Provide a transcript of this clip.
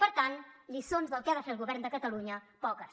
per tant lliçons del que ha de fer el govern de catalunya poques